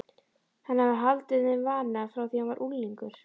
Hann hafði haldið þeim vana frá því hann var unglingur.